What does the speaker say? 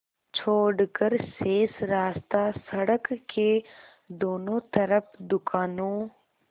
छोड़कर शेष रास्ता सड़क के दोनों तरफ़ दुकानों